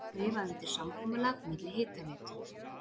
Skrifað undir samkomulag milli Hitaveitu